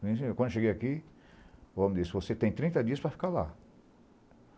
Quando eu cheguei aqui, o homem disse, você tem trinta dias para ficar lá.